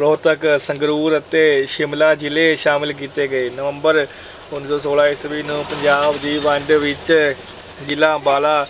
ਰੋਹਤਕ, ਸੰਗਰੂਰ ਅਤੇ ਸ਼ਿਮਲਾ ਜ਼ਿਲ੍ਹੇ ਸ਼ਾਮਲ ਕੀਤੇ ਗਏ। ਨਵੰਬਰ ਉਨੀ ਸੌ ਸੌਲਾ ਈਸਵੀ ਨੂੰ ਪੰਜਾਬ ਦੀ ਵੰਡ ਵਿੱਚ ਜ਼ਿਲ੍ਹਾ ਅੰਬਾਲਾ,